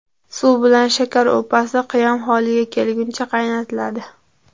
Suv bilan shakar upasi qiyom holiga kelguncha qaynatiladi.